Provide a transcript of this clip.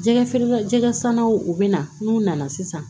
Jɛgɛ feere la jɛgɛ sannaw u bɛ na n'u nana sisan